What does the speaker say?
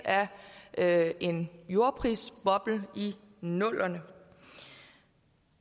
af en jordprisboble i nullerne